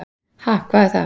"""Ha, hvað er það?"""